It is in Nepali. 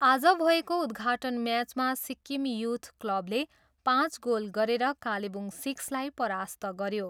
आज भएको उद्घाटन म्याचमा सिक्किम युथ क्लबले पाँच गोल गरेर कालेबुङ सिक्सलाई परास्त गयो।